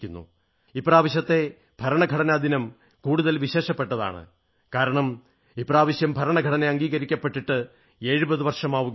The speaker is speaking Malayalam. ഇപ്രാവശ്യത്തെ ഭരണഘടനാദിനം കൂടുതൽ വിശേഷപ്പെട്ടതാണ് കാരണം ഇപ്രാവശ്യം ഭരണഘടന അംഗീകരിക്കപ്പെട്ടിട്ട് 70 വർഷമാവുയാണ്